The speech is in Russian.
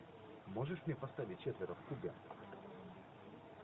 можешь мне поставить четверо в кубе